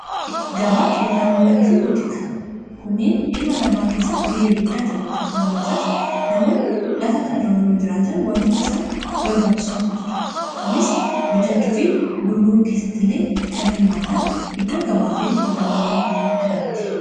gabaa qinxabowwanii fi buutika kuniin ilma namaa keessatti gahee guddaa taphatu sababni isaas. namoonni lafa kanarra yeroo jiraatan wantoota isaan barbaachisantu jira kunis bitachuu fi gurguruu keessatti illee kan hirmaatan iddoo gabaa fi qinxabawwanii kanaatti.